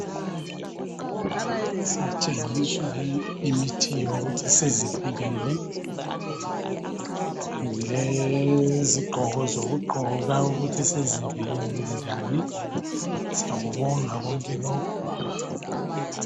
Sitshengiswa imithiyo yokuthi sizivikele. Lezigqoko zokugqoka ukuthi sizivikele njani. Siyakubonga konke lokhu.